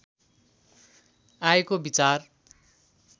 आएको विचार